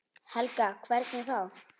Helga: Hvernig þá?